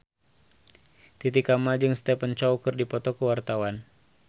Titi Kamal jeung Stephen Chow keur dipoto ku wartawan